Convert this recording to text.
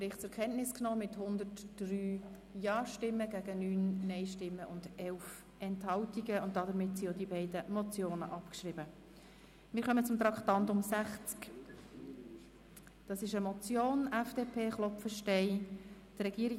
Schlussabstimmung (Bericht des Regierungsrats mit Abschreibung der Motionen 076-2010 Geissbühler-Strupler, Herrenschwanden [SVP] und 104-2010 Löffel-Wenger, Münchenbuchsee [EVP])